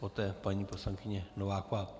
Poté paní poslankyně Nováková.